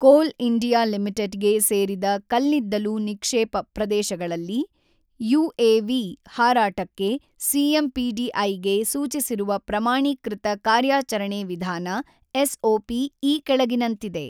ಕೋಲ್ India Limited ಗೆ ಸೇರಿದ ಕಲ್ಲಿದ್ದಲು ನಿಕ್ಷೇಪ ಪ್ರದೇಶಗಳಲ್ಲಿ ಯುಎವಿ ಹಾರಾಟಕ್ಕೆ ಸಿಎಂಪಿಡಿಐಗೆ ಸೂಚಿಸಿರುವ ಪ್ರಮಾಣೀಕೃತ ಕಾರ್ಯಾಚರಣೆ ವಿಧಾನ ಎಸ್ಒಪಿ ಈ ಕೆಳಗಿನಂತಿದೆ